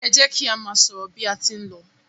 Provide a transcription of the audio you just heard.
e jẹ ki a má sọrọ bi a tí n ló